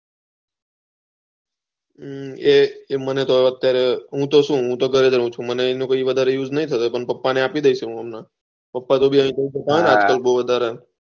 હી એ મને તો અત્યારે હું તો શું હું તો ઘરે રહું છું મને એનું કઈ વધારે ઉસ્ઝ નહી થતો પણ પપ્પા ને આપી દયીસ હું હમને પપ્પા તો વધારે